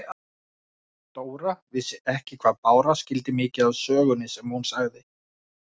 Dóra vissi ekki hvað Bára skildi mikið af sögunni sem hún sagði.